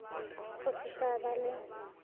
go se sa ba le